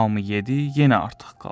Hamı yedi, yenə artıq qaldı.